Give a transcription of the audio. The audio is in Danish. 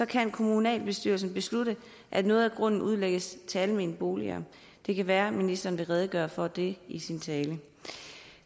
kan kommunalbestyrelsen beslutte at noget af grunden skal udlægges til almene boliger det kan være at ministeren vil redegøre for det i sin tale